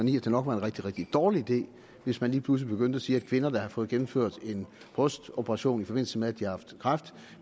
i at det nok var en rigtig rigtig dårlig idé hvis man lige pludselig begyndte at sige at kvinder der har fået gennemført en brystoperation i forbindelse med at de har haft kræft